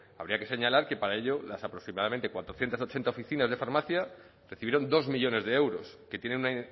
habría que señalar que para ello las aproximadamente cuatrocientos ochenta oficinas de farmacia recibieron dos millónes de euros que tiene una